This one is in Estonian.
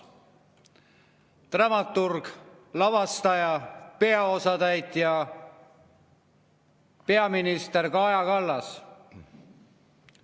Dramaturg, lavastaja ja peaosatäitja: peaminister Kaja Kallas.